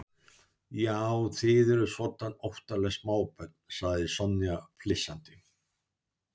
Já, þið eruð svoddan óttaleg smábörn sagði Sonja flissandi.